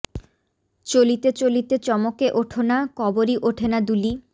চলিতে চলিতে চমকে ওঠ না কবরী ওঠে না দুলি